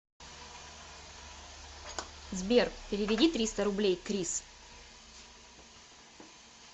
сбер переведи триста рублей крис